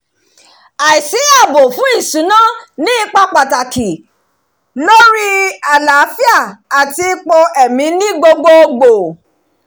àìsíààbò fún ìṣúná ní ipa pàtàkì lórí àlàáfíà àti ipò ẹ̀mí ni gbogbogbò